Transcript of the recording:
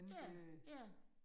Ja, ja